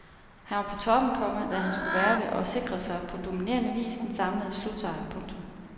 Han var på toppen, komma da han skulle være det og sikrede sig på dominerende vis den samlede slutsejr. punktum